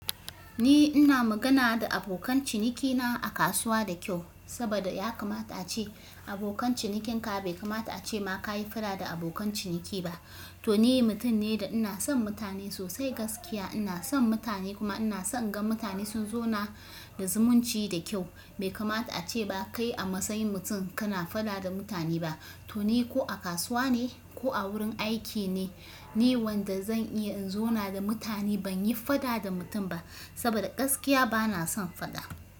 Ni ina magana da abokan cinikina a kasuwa da kyau, sabida yakamata ace abokan cinikin ka bai kamata ace ma ka yi faɗa da abokan ciniki ba. To ni mutum ne da ina son mutane sosai gaskiya ina son mutane kuma ina son gan mutane sun zauna da zumunci da kyau. Bai kamata ace ba kai a matsayin mutum kana faɗa da mutane ba. To ni ko a kasuwa ne ko a wurin aiki ne, ni wanda zan iya in zauna da mutane ban yi faɗa da mutum ba, sabida gaskiya bana son faɗa.